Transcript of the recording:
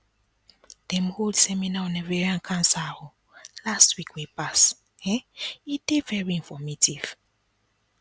dem hold seminar on ovarian cancer last week wey pass um e dey very informative